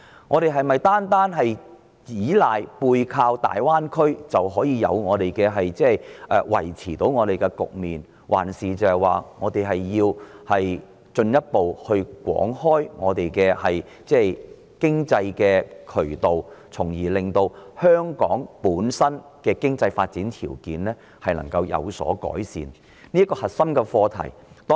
我們是否只須背靠大灣區，就可以維持局面，還是須進一步廣開經濟渠道，從而令香港的經濟發展條件有所改善？